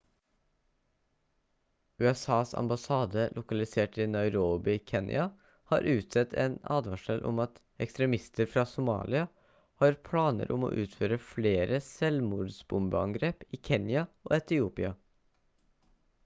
usas ambassade lokalisert i nairobi i kenya har utstedt en advarsel om at «ekstremister fra somalia» har planer om å utføre flere selvmordsbombeangrep i kenya og etiopia